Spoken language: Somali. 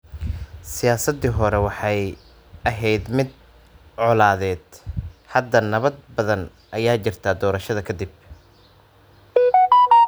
Siyaasaddii hore waxay ahayd mid colaadeed. Hadda nabad badan ayaa jirta doorashada ka dib.